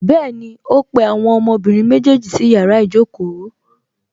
Bẹ́ẹ̀ni, ó pe àwọn ọmọbìnrin méjèèjì sí yàrá ìjókòó